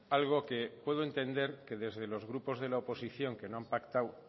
algo que puedo entender que desde los grupos de la oposición que no han pactado